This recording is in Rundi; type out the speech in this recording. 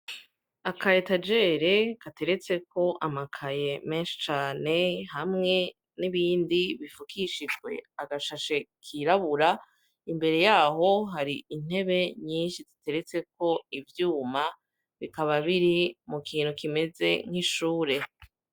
Aka etajere gateretseko amakaye menshi cane, hamwe n'ibindi bifukishijwe agashashe kirabura, imbere yaho hari intebe nyinshi ziteretseko ivyuma, bikaba biri mu kintu kimeze nk'ishure.